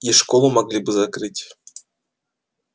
и школу могли бы закрыть